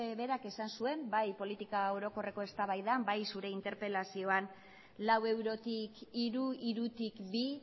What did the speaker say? berak esan zuen bai politika orokorreko eztabaidan bai zure interpelazioan lau eurotik hiru hirutik bi